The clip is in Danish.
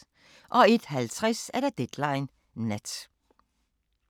01:50: Deadline Nat